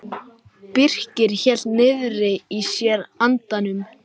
Birkir hélt niðri í sér andanum.